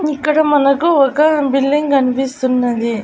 ఇక్కడ మనకు ఒక బిల్డింగ్ గన్పిస్తున్నది .